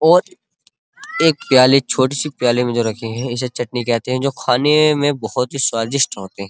और एक प्याले छोटी सी प्याले में रखे हैं इसे चटनी कहते हैं जो खाने में बोहोत ही स्वादिष्ट होते हैं।